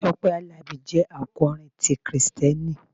Tọ́pẹ́ Àlàbí jẹ́ akọrin ti Kristẹni.